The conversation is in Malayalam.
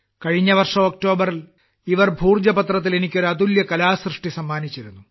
കഴിഞ്ഞ വർഷം ഒക്ടോബറിൽ ഭോജ പത്രത്തിൽ എനിക്ക് ഒരു അതുല്യ കലാസൃഷ്ടി സമ്മാനിച്ചിരുന്നു